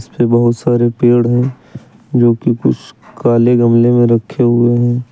बहुत सारे पेड़ है जोकि कुछ काले गमले में रखे हुए हैं।